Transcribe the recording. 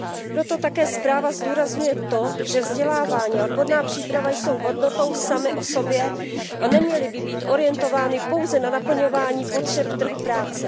Proto také zpráva zdůrazňuje to, že vzdělávání a odborná příprava jsou hodnotou samy o sobě a neměly by být orientovány pouze na naplňování potřeb trhu práce.